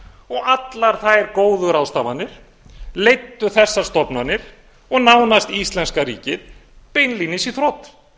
og allar þær góðu ráðstafanir leiddu þessar stofnanir og nánast íslenska ríkið beinlínis í þrot